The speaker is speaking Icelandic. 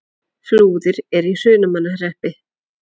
Flúðir er í Hrunamannahreppi.